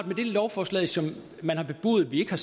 med det lovforslag som man har bebudet vi har